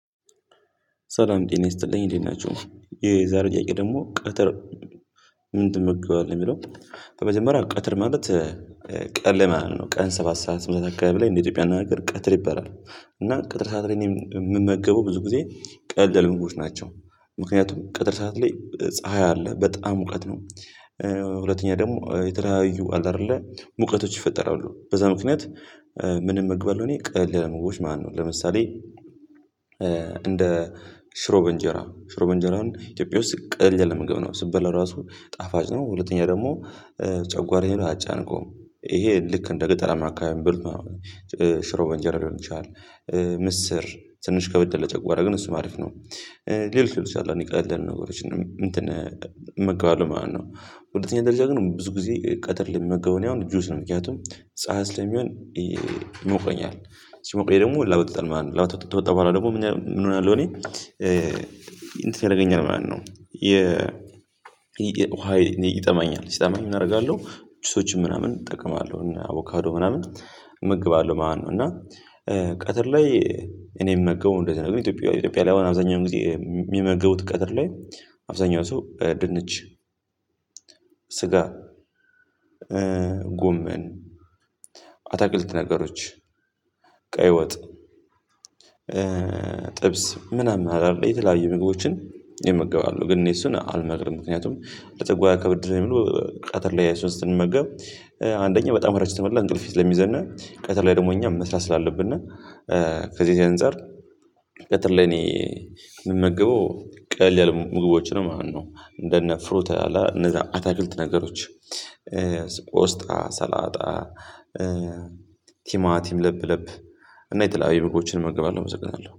ሰላም ጤና ይስጥልኝ እንዴት ናቹህ። የዛሬው ጥያቄ ደግሞ ቀትር ምን ትምህርት ነው የሚለው በመጀመሪያ ቅትር ማለት ቀን ላይ ማለት ነው። ቀን ሰባት ሰባት አካባቢ ላይ እንደ ኢትዮጵያ አነጋገር ቅትር ይበላል። እና ቀጥር ሰዓት ላይ የምመገበው ብዙ ጊዜ ቀለል ያሉ ምግቦች ናቸው። ምክንያቱም ቀጥር ሰዓት ላይ ፀሀይ አለ። በጣም ሙቀት ነው። ሁለተኛ ደግሞ የተለያዩ አለ አይደለ ሙቀቶች ይፈጠራሉ። በዛ ምክንያት ምንም እመገባለሁ እኔ ቀለል ያሉ ምግቦች ማለት ነው። ለምሳሌ እንደ ሽሮ በእንጀራ ሽሮ በእንጀራን ኢትዮጵያ ውስጥ ቀለል ያለ ምግብ ነው። ስትበላው ራሱ ጣፋጭ ነው። ሁለተኛ ደግሞ ጨንጓራዬን አያጨናንቀውም። ይሄ ልክ እንደ ገጠራማ አካባቢ ሚበሉት ማለት ነው። ሽሮ በእንጀራ ሊሆን ይችላል። ምስር ትንሽ ከበድ ይላል ለጨንጓራ። ግን እሱ አሪፍ ነው። ሌሎች ሌሎች አንዳንድ ቀለል ያሉ ነገሮችን እንትን እመገባለሁ ማለት ነው። በሁለተኛ ደረጃ ግን ብዙ ጊዜ ቀትር ላይ የምመገበው እኔ አሁን ጁስ ነው። ምክንያቱም ፀሀይ ለሚሆን ይሞቀኛል። ሲሞቀኝ ደግሞ ላቦት ይወጣል። ላቦት ወጥቶ ከወጣ በኋላ ደግሞ ምን እሆናለሁ እኔ እንትን ያደርገኛል ማለት ነው። የ ውሃ ይጠማኛል። ሲጠማኝ ምን አደርጋለሁ? ጁሶችን ምናምን እጠቀማለሁ። አቮካዶ ምናምን እመገባለሁ ማለት ነው። እና ቀትር ላይ እኔ የምመገበው እንደዚህ ነው። ግን ኢትዮጵያ ኢትዮጵያ ላይ አሁን አብዛኛው ጊዜ የሚመገቡት ቀትር ላይ አብዛኛው ሰው ድንች፣ ስጋ፣ ጎመን፣ አትክልት ነገሮች ቀይ ወጥ፣ ጥብስ ምናምን አለ አይደል የተለያዩ ምግቦችን ቀትር ላይ ይመገባሉ። ግን እኔ እሱን አልመክርም። ምክንያቱም ለጨንጓራ ከበድ ስለሚሉ ቀትር ላይ እሱን ስንመገብ አንደኛ በጣም ረጅም ተመላ እንቅልፍ ስለሚይዘን ቀተር ላይ ደግሞ እኛም መስራት ስላለብን ከዚህ ከዚህ አንፃር ቀትር ላይ እኔ የምመገበው ቀለል ያለ ምግቦች ነው ማለት ነው። እንደነ ፍሩት አለ አይደል አታክልት ነገሮች ቆስጣ፣ ሰላጣ፣ ቲማ ቲም ለብ ለብ፣ እና የተለያዩ ምግቦችን እመግባለሁ አመሰግናለሁ።